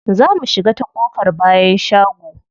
Za mu shiga ta ƙofar bayan shago.